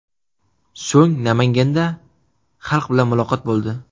So‘ng Namanganda xalq bilan muloqotda bo‘ldi .